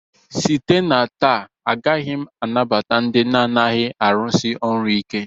Site na taa agaghị m anabata ndị na-adịghị arụsi ọrụ ike!